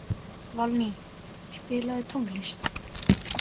Valný, spilaðu tónlist.